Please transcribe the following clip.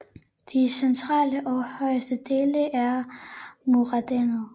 De centrale og højeste dele er morænedannet